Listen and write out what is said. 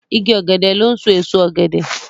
Ìgi ògèdè lón so èso ògèdè.